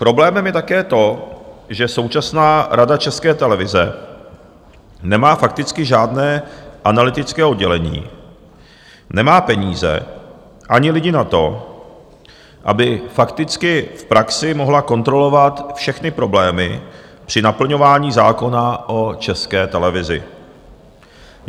Problémem je také to, že současná Rada České televize nemá fakticky žádné analytické oddělení, nemá peníze ani lidi na to, aby fakticky v praxi mohla kontrolovat všechny problémy při naplňování zákona o České televizi.